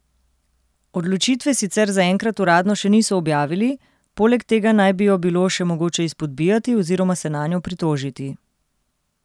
Odločitve sicer zaenkrat uradno še niso objavili, poleg tega naj bi jo bilo še mogoče izpodbijati oziroma se nanjo pritožiti.